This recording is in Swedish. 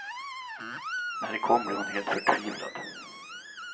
När det kom blev hon helt förtvivlad.